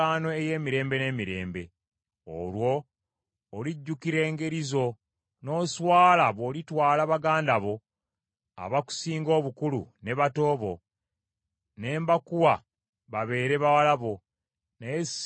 Olwo olijjukira engeri zo, n’oswala bw’olitwala baganda bo abakusinga obukulu ne bato bo, ne mbankuwa babeere bawala bo, naye si lwa ndagaano yange naawe.